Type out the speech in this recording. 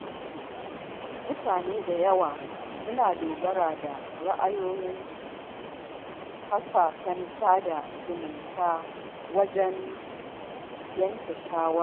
Mutane da yawa suna dogara da ra’ayoyin kafafen sada zumunta wajen yanke shawara.